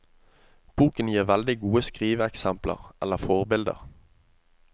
Boken gir veldig gode skriveeksempler eller forbilder.